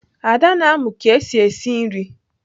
Ada na-amụ ka esi esi nri.